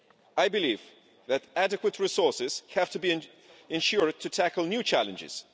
I believe that adequate resources have to be ensured to tackle new challenges.